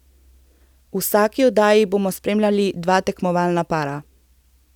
V vsaki oddaji bomo spremljali dva tekmovalna para.